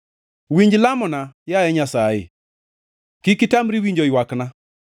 Winj lamona, yaye Nyasaye, kik itamri winjo ywakna;